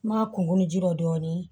N ma kunkolo ji dɔ dɔɔnin